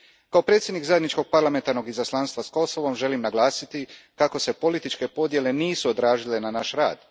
Kao predsjednik Zajedničkog parlamentarnog izaslanstva s Kosovom, želim naglasiti kako se političke podjele nisu odrazile na naš rad.